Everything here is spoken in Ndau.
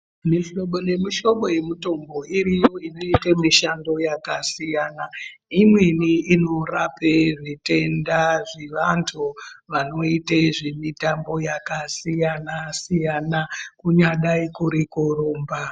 Mihlobo nemihlobo yemitombo iriyo inoite mishando yakasiyana imweni inorape zvitenda zvevanthu vanoite zvemitambo yakasiyana-siyana kunyadai kuri kurumba.